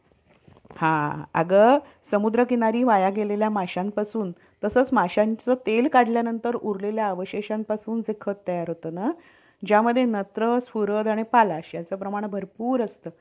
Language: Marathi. आह सफल झालेलो आहोत आणि हि पण एक खूप चांगली गोष्ट आहे आणि दुसरी गोष्ट हि कि pandemic मध्ये